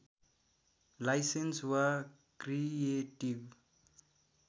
licence वा creative